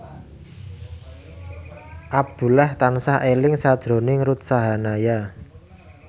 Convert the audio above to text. Abdullah tansah eling sakjroning Ruth Sahanaya